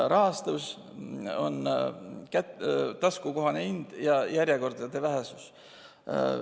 Rahastus, taskukohane hind ja järjekordade lühidus.